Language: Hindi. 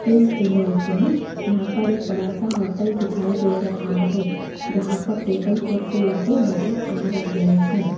इस इमेज में यहां पर एक बड़ा सा होटल दिखाई दे रहा है जहां पर टेबल कुर्सी लगे नजर आ रहे हैं।